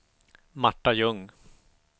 Marta Ljung